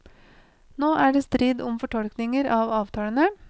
Nå er det strid om fortolkninger av avtalene.